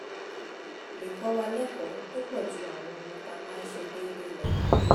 lè kọ́ wa lẹ́kọ̀ọ́ tó pọ̀ ju àwọn ohun tá a máa ń ṣe déédéé lọ